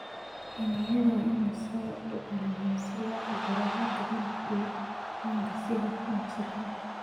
Xiniinyaha waa in loo qalabeeyaa si loo cabbiro heerka malabka iyo manka si hufan oo sax ah.